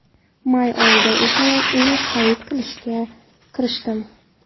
May oyida esa uy xarid qilishga kirishdim.